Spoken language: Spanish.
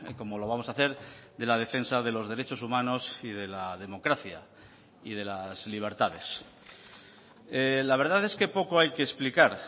como lo vamos a hacer de la defensa de los derechos humanos y de la democracia y de las libertades la verdad es que poco hay que explicar